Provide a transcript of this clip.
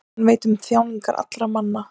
Hann veit um þjáningar allra manna.